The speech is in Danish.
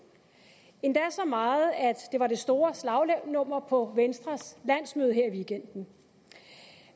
endda så meget at det var det store slagnummer på venstres landsmøde her i weekenden